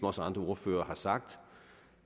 også andre ordførere har sagt